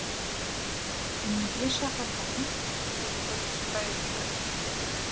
неге шақырдың деді бүркітбай үйге кіріп